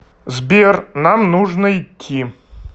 сбер нам нужно идти